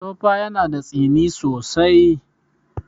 Tofa yana da tsini sosai.